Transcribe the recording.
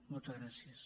moltes gràcies